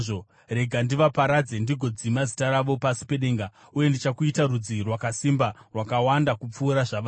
Rega ndivaparadze ndigodzima zita ravo pasi pedenga. Uye ndichakuita rudzi rwakasimba rwakawanda kupfuura zvavari.”